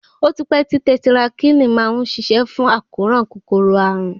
Ó ti pẹ́ tí tẹtirakílìn ti má ń ṣiṣẹ́ fún àkóràn kòkòrò àrùn.